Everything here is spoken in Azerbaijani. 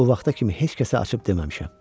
bu vaxta kimi heç kəsə açıb deməmişəm.